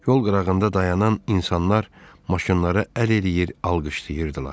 Yol qırağında dayanan insanlar maşınları əl eləyir, alqışlayırdılar.